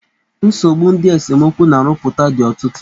Nsogbu ndị esemokwu na-arụpụta dị ọtụtụ.